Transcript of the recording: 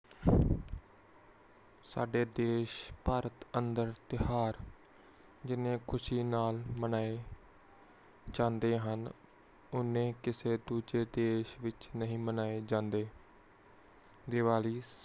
ਸਾਡੇ ਦੇਸ਼ ਭਾਰਤ ਅੰਦਰ ਤਿਯੋਹਾਰ ਜਿੰਨ੍ਹੀ ਖੁਸ਼ੀ ਨਾਲ ਮਨਾਏ ਜਾਂਦੇ ਹਨ ਓਨੇ ਕਿਸੇ ਹੋਰ ਜ਼ਿੰਦਗੀ ਨਹੀਂ ਮਨਾਏ ਜਾਂਦੇ